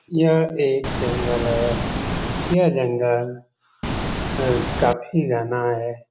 यह एक जंगल है यह जंगल काफी घना है।